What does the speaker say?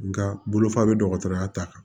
Nga bolofa bɛ dɔgɔtɔrɔya ta kan